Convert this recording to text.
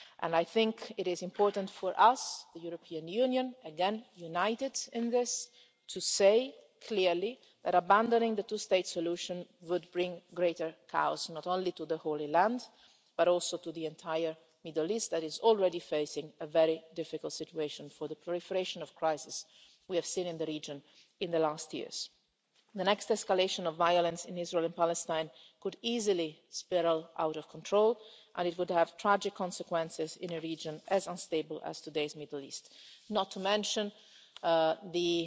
I think it is important for us, the European Union again, united in this to say clearly that abandoning the two state solution would bring greater chaos not only to the Holy Land, but also to the entire Middle East, which is already facing a very difficult situation due to the proliferation of crises we have seen in the region in the last years. The next escalation of violence in Israel and Palestine could easily spiral out of control, and it would have tragic consequences in a region as unstable as today's Middle East, not to mention the